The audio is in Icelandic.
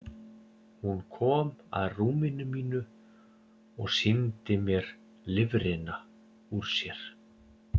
Hún kom að rúminu mínu og sýndi mér lifrina úr sér.